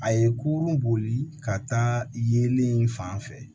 A ye kurun boli ka taa yelen fan fɛ